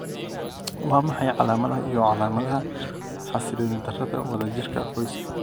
Waa maxay calaamadaha iyo calaamadaha xasiloonidarada wadajirka qoyska?